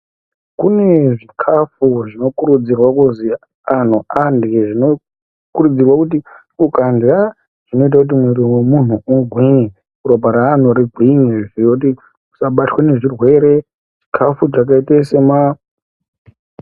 Kune zvikafu zvinokurudzirwa kuzi anhu arye, zvinokurudzirwa kuti ukarya zvinoite kuti mwiri wemunhu ugwinye, ropa reanhu rigwinye, nekuti usabatwa nezvirwere, chikafu chakaita sema?